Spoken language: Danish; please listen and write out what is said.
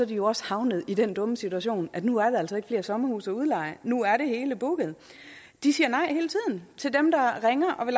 jo også havnet i den dumme situation at nu er der altså ikke flere sommerhuse at udleje nu er det hele booket de siger nej hele tiden til dem der ringer og vil